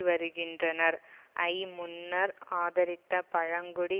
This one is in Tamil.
வருகின்றனர் ஐ முன்னர் ஆதரித்த பழங்குடி